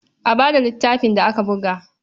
A ba da littafin da aka buga.